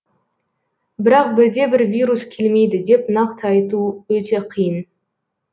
бірақ бірде бір вирус келмейді деп нақты айту өте қиын